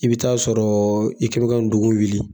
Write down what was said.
I bɛ'a sɔrɔ i' kɛ bɛ ka n tungu wuli.